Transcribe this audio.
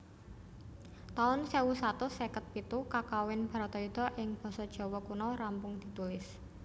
taun sewu satus seket pitu Kakawin Bharatayuddha ing basa Jawa Kuna rampung ditulis